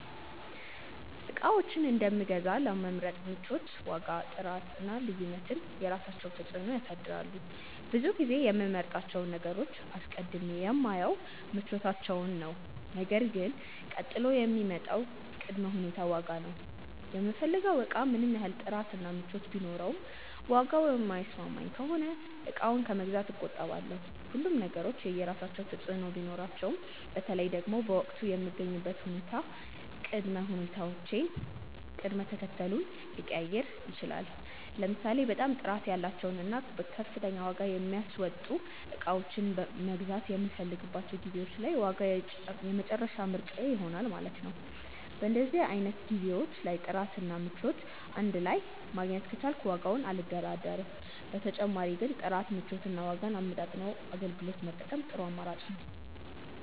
እቃዎችን የት እንደምገዛ ለመምረጥ ምቾት፣ ዋጋ፣ ጥራት እና ልዩነት የራሳቸውን ተፅዕኖ ያሳድራሉ። ብዙ ጊዜ የምመርጣቸውን ነገሮች አስቀድሜ የማየው ምቾታቸውን ነው ነገር ግን ቀጥሎ የሚመጣው ቅድመ ሁኔታ ዋጋ ነው። የምፈልገው እቃ ምንም ያህል ጥራት እና ምቾት ቢኖረውም ዋጋው የማይስማማኝ ከሆነ እቃውን ከመግዛት እቆጠባለሁ። ሁሉም ነገሮች የየራሳቸው ተፅእኖ ቢኖራቸውም በተለይ ደግሞ በወቅቱ የምገኝበት ሁኔታ ቅድመ ሁኔታዬን ቅደም ተከተሉን ሊቀያይረው ይችላል። ለምሳሌ በጣም ጥራት ያላቸውን እና ከፍተኛ ዋጋ የሚያስወጡ እቃዎችን መግዛት የምፈልግባቸው ጊዜዎች ላይ ዋጋ የመጨረሻ ምርጫዬ ይሆናል ማለት ነው። በእንደዚህ አይነት ጊዜዎች ላይ ጥራት እና ምቾት እንድ ላይ ማግኘት ከቻልኩ በዋጋው አልደራደርም። በተጨማሪ ግን ጥራትን፣ ምቾትን እና ዋጋን አመጣጥኖ አገልግሎት መጠቀም ጥሩ አማራጭ ነው።